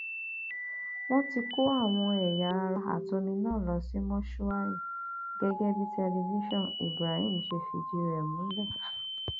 wọn ti kó àwọn ẹyà ara àtomi náà lọ sí mọṣúárì gẹgẹ bí tẹlifásiàn ibrahim ṣe fìdí rẹ múlẹ